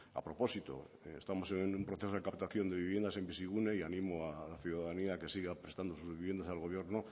a propósito estamos en un proceso de captación de viviendas en bizigune y animo a la ciudadanía a que siga prestando sus viviendas al gobierno